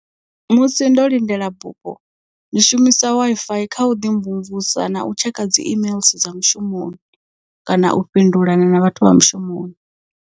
Musi ndo lindela bufho ndi shumisa Wi-Fi kha u ḓi mvumvusa na u tshekha dzi imeiḽi dza mushumoni kana u fhindula na na vhathu vha mushumoni.